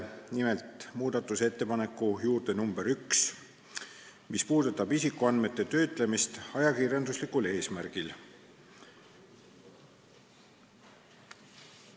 Nimelt, muudatusettepanek nr 1 puudutab isikuandmete töötlemist ajakirjanduslikul eesmärgil.